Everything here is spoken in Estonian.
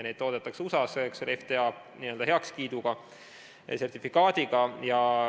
Neid toodetakse USA-s FDA heakskiiduga ja sertifikaadiga.